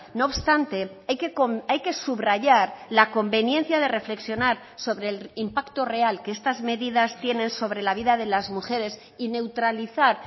no obstante hay que subrayar la conveniencia de reflexionar sobre el impacto real que estas medidas tienen sobre la vida de las mujeres y neutralizar